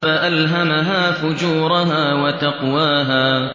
فَأَلْهَمَهَا فُجُورَهَا وَتَقْوَاهَا